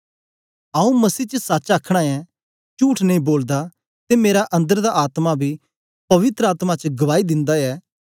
आंऊँ मसीह च सच्च अखनां ऐं चुठ नेई बोलदा ते मेरा अन्दर दा आत्मा बी पवित्र आत्मा च गवाई दिन्दा ऐ